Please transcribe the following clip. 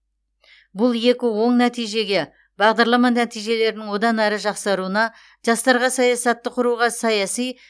бұл екі оң нәтижеге бағдарлама нәтижелерінің одан әрі жақсаруына жастарға саясатты құруға саяси